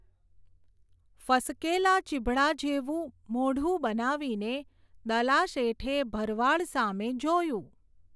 ફસકેલા ચીભડા જેવું મોઢું બનાવીને, દલાશેઠે ભરવાડ સામે જોયું.